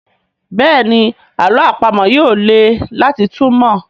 Béèni àlọ́ àpamọ̀ yí yóò lẹ láti túmọ.